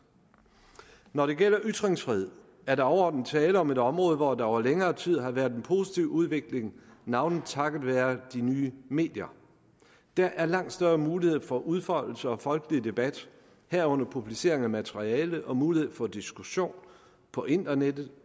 når det gælder ytringsfriheden er der overordnet tale om et område hvor der over længere tid har været en positiv udvikling navnlig takket være de nye medier der er langt større mulighed for udfoldelse og folkelig debat herunder publicering af materiale og mulighed for diskussion på internettet